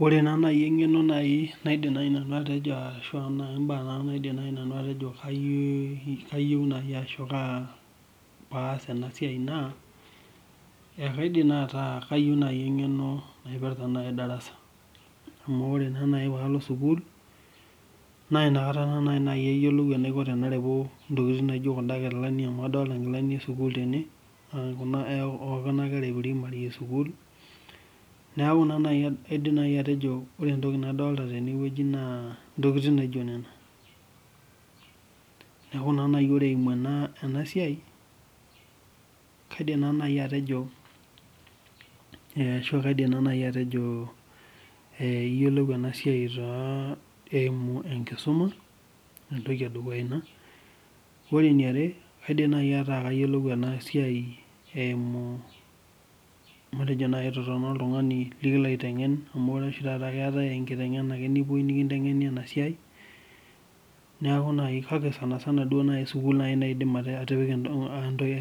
Ore naaji engeno ashu mbaa naaji nanu naidim atejo kayieu ashu kaa pee aas ena siai naa ,ekaidim naaji ataa kayieu engeno naipirta darasa .Amu ore naa naji inakata tenalo sukul, naa inakata naaji ayiolou enaikoni tanareu ntokiting naijo kunda kilani amu adolita nkilani esukul tene oonkuna kera eprimary esiukuul. Neeku naa kaidim naaji atejo ore entoki nadolita teneweji naa ntokiting naijo nena. Neeku naa ore naaji eimu ena siai, kaidim naa naji atejo iyiolou ena siai eimu enkisuma, entoki edukuya ina, ore eniare kaidim naaji atayiolo ena siai itotona oltungani laitengen ,amu etaa oshi taata keetae enkitengena nikipoi aitengen ena siai, kake sukul naaji aidim atipika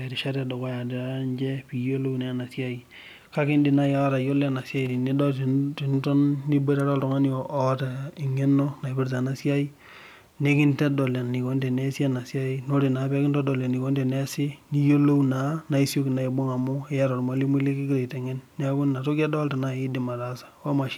erishata edukuya niche pee iyiolou ena siai. Kake idim naaji atayiolo ena siai tiniton niboitare oltungani oota engeno naipitra ena siai, nikintodol enikoni teneesi ena siai, ore naa tenikintodol enikoni teneesi naa iyiolou naa teneeku iyata ormalimui likingira aitengen, inatoki adolita naaji indim ataasa.